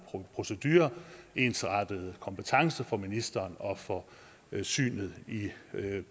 procedure og ensartede kompetencer for ministeren og for synet i